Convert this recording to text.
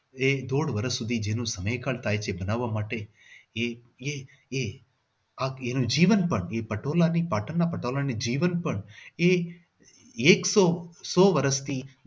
એક દોઢ વર્ષ સુધી એનો સમયકાળ થાય છે એને બનાવવા માટે એ એ એ આ જીવન પણ પટોળા પટોળા ની પણ જીવન પણ એ એ સો વર્ષથી